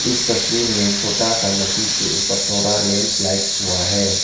इस तस्वीर में छोटा सा नदी के ऊपर थोरा लैंडस्लाइड हुआ है।